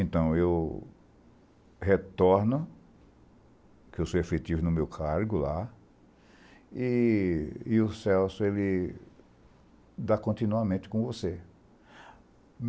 Então, eu retorno, que eu sou efetivo no meu cargo lá, e o Celso, ele dá continuamente com você.